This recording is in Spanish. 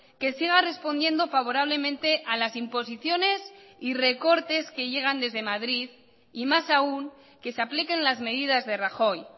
que siga respondiendo favorablemente a las imposiciones y recortes que llegan desde madrid y más aún que se apliquen las medidas de rajoy